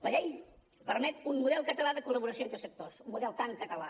la llei permet un model català de col·laboració entre sectors un model tan català